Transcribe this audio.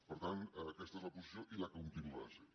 per tant aquesta és la posició i la continuarà sent